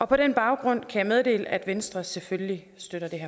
på den baggrund kan jeg meddele at venstre selvfølgelig støtter det